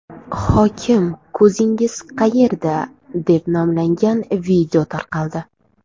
Hokim ko‘zingiz qayerda?” deb nomlangan video tarqaldi .